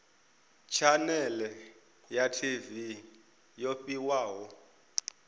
tshanele ya tv yo fhiwaho